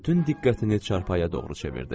Bütün diqqətini çarpaya doğru çevirdi.